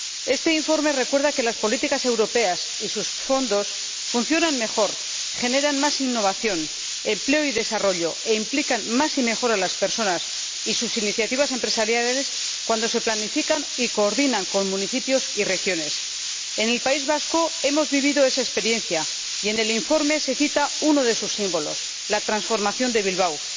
Este informe recuerda que las políticas europeas y sus fondos funcionan mejor, generan más innovación, empleo y desarrollo e implican más y mejor a las personas y sus iniciativas empresariales cuando se planifican y coordinan con municipios y regiones. En el País Vasco hemos vivido esa experiencia, y en el informe se cita uno de sus símbolos, la transformación de Bilbao.